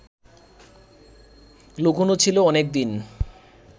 লুকোনো ছিল অনেকদিন